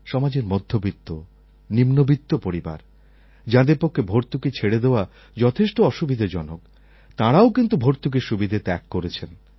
সমাজের মধ্যবিত্ত নিম্নমধ্যবিত্ত পরিবার যাঁদের পক্ষে ভর্তুকি ছেড়ে দেওয়া যথেষ্ট অসুবিধাজনক তাঁরাও কিন্তু ভর্তুকির সুবিধা ত্যাগ করেছেন